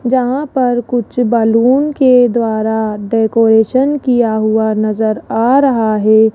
यहां पर कुछ बैलून के द्वारा डेकोरेशन किया हुआ नजर आ रहा है।